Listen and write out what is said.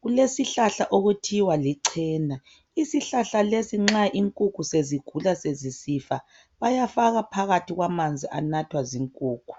kulesihlahla okuthiwa lichena isihlahla lesi nxa inkukhu sezigula sezisifa bayafaka phakathi kwamanzi anathwa zinkukhu.